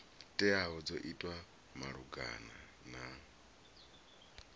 teaho dzo itwa malugana na